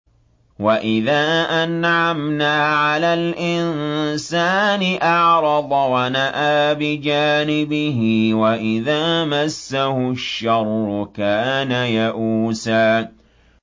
وَإِذَا أَنْعَمْنَا عَلَى الْإِنسَانِ أَعْرَضَ وَنَأَىٰ بِجَانِبِهِ ۖ وَإِذَا مَسَّهُ الشَّرُّ كَانَ يَئُوسًا